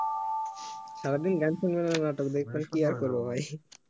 সারাদিন গান সুনা নাটক দেখা কি এর করব ভাই